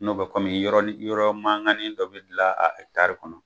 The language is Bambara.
N'o bɛ kɔmimi yɔrɔ li yɔrɔ mankani dɔ bɛ dilan a kɔnɔ.